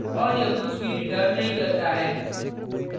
और यह कुछ भी रिटर्न नहीं करता है